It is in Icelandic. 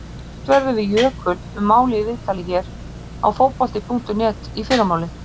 Rætt verður við Jökul um málið í viðtali hér á Fótbolta.net í fyrramálið.